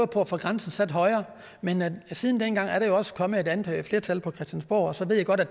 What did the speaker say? på at få grænsen sat højere men siden dengang er der jo også kommet et andet flertal på christiansborg så ved jeg godt at